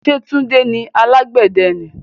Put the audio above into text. Ṣé tunde ni alàgbẹ̀dẹ ni?